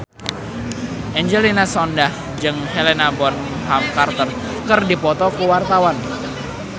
Angelina Sondakh jeung Helena Bonham Carter keur dipoto ku wartawan